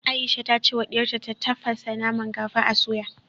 Aisha ta ce wa diyarta ta tafasa naman kafin a soya